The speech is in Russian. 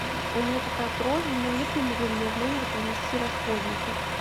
у меня такая просьба не могли бы вы мне в номер принести расходники